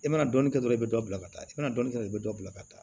I mana dɔnni kɛ dɔrɔn i be dɔ bila ka taa i mana dɔɔnin kɛ dɔrɔn i bɛ dɔ bila ka taa